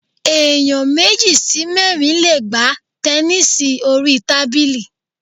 Ẹ̀yàn méjì sí mẹ́rin le gbá tẹnísì orí tábìlì.